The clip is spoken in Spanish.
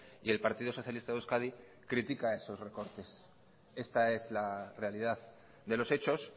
y el partido socialista de euskadi critica esos recortes esta es la realidad de los hechos